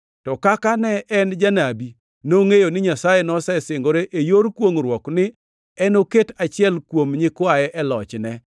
To kaka ne en janabi, nongʼeyo ni Nyasaye nosesingore e yor kwongʼruok ni enoket achiel kuom nyikwaye e lochne.